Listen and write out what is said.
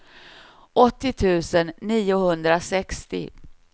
åttio tusen niohundrasextio